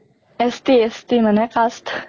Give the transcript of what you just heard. ST ST মানে cast